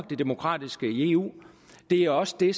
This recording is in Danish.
det demokratiske i eu det er også det